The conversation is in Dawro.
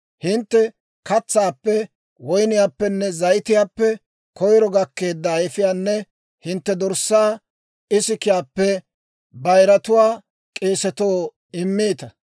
Hintte katsaappe, woyniyaappenne zayitiyaappe koyiro gakkeedda ayifiyaanne hintte dorssaa ikisiyaappe bayiratuwaa k'eesatoo immiita.